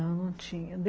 Não, não tinha.